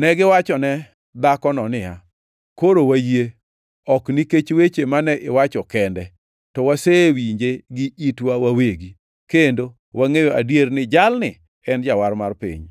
Negiwachone dhakono niya, “Koro wayie, ok nikech weche mane iwacho kende; to wasewinje gi itwa wawegi, kendo wangʼeyo gadier ni jalni en Jawar mar piny.”